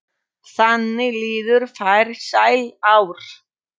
Þannig liðu farsæl ár.